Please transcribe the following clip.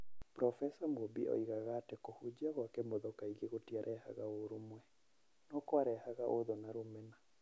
Burobeca Mũmbi oigaga atĩ kũhunjia gwa Kĩmotho kaingĩ gũtiarehaga ũrũmwe, no kwarehaga ũthũ na rũmena